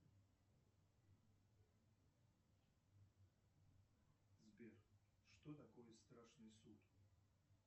сбер что такое страшный суд